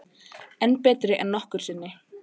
Enn betri en nokkru sinni